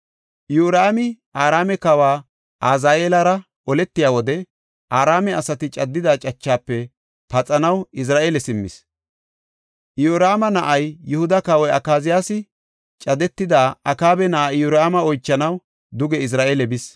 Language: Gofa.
Iyoraami Araame kawa Azaheelara oletiya wode, Araame asati caddida cachafe paxanaw Izra7eele simmis. Iyoraama na7ay, Yihuda kawoy Akaziyaasi, cadetida Akaaba na7aa Iyoraama oychanaw duge Izra7eele bis.